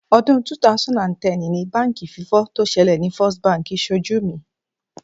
Ọdún 2010 ni báǹkì fífọ́ tó ṣẹlẹ̀ ni First Bank ṣojú mi.